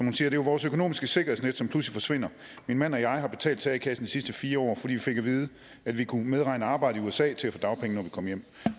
er jo vores økonomiske sikkerhedsnet som pludselig forsvinder min mand og jeg har betalt til a kassen sidste fire år fordi vi fik at vide at vi kunne medregne arbejde i usa til at få dagpenge når vi kom hjem